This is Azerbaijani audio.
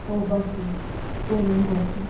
O, Basil, Dorian qorxdu.